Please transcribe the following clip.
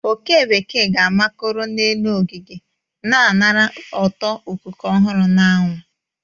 oke bekee ga-amakoro n'elu ogige, na anara ụtọ ikuku ọhụrụ na anwụ.